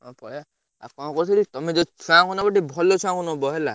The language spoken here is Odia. ହଉ ପଳେଇଆ ଆଉ ଙ୍କ କହୁଥିଲି ତମେ ଯୋଉ ଛୁଆ ଙ୍କୁ ନବ ଟିକେ ଭଲ କହୁଉଆ ଙ୍କୁ ନବ ହେଲା।